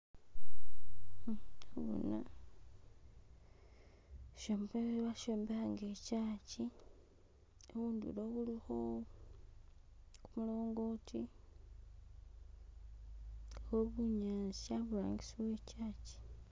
Nabona ishombekhe bashombekha nga I church, khundulo khulikho kumulongoti khubunyasi aburangisi we church.